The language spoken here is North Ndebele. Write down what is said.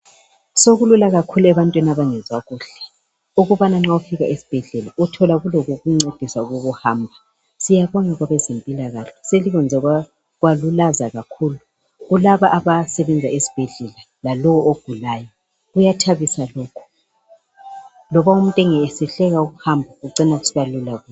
Sokulula kakhulu ebantwini abangezwa kuhle ukubana nxa ufika esibhedlela uthola kulokokuncedisa ukuhamba siyabonga kwabazempilakahle selikwenze kwalulaza kakhulu kulaba abasebenza ezibhedlela lalowo ogulayo kuyathabisa lokho loba umuntu esehluleka ukuhamba kucina kusiba lula.